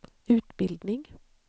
utbildning